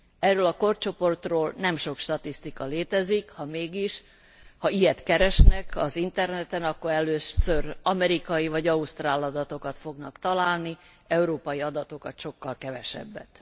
Erről a korcsoportról nem sok statisztika létezik, ha mégis, ha ilyet keresnek az Interneten, akkor először amerikai vagy ausztrál adatokat fognak találni, európai adatokat sokkal kevesebbet.